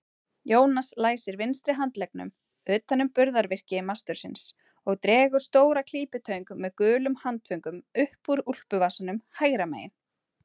Jónas læsir vinstri handleggnum utan um burðarvirki mastursins og dregur stóra klípitöng með gulum handföngum upp úr úlpuvasanum hægra megin.